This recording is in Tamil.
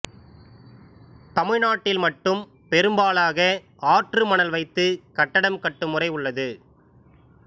தமிழ்நாட்டில் மட்டும் பெரும்பாலாக ஆற்று மணல் வைத்து கட்டடம் கட்டும் முறை உள்ளது